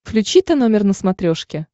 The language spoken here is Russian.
включи тномер на смотрешке